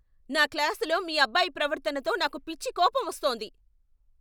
నా క్లాసులో మీ అబ్బాయి ప్రవర్తనతో నాకు పిచ్చి కోపం వస్తోంది.